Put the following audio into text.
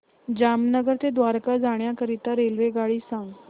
जामनगर ते द्वारका जाण्याकरीता रेल्वेगाडी सांग